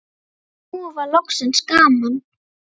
Nú var loksins gaman.